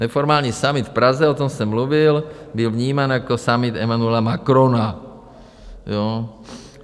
Neformální summit v Praze, o tom jsem mluvil, byl vnímán jako summit Emmanuela Macrona.